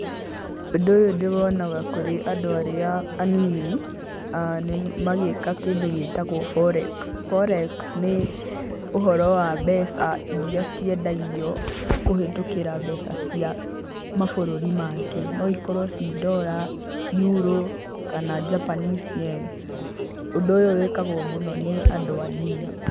Ũndũ ũyũ ndĩ wonaga kũrĩ andũ arĩa anini, magĩka kĩndũ gĩtagwo forex, forex nĩ ũhoro wa mbeca iria ciendagio kũhĩtũkĩra mbeca cia mabũrũri mangĩ, no ikorwo ci Dollar, Euro kana Japanese Yen. Ũndũ ũyũ wĩkagwo mũno nĩ andũ anini.